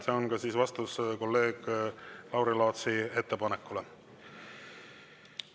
See on ka vastus kolleeg Lauri Laatsi ettepanekule.